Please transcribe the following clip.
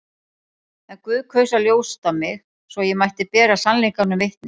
En Guð kaus að ljósta mig, svo ég mætti bera sannleikanum vitni.